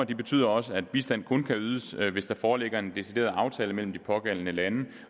betyder også at bistand kun kan ydes hvis der foreligger en decideret aftale mellem de pågældende lande